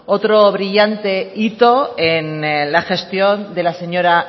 otro brillante hito en la gestión de la señora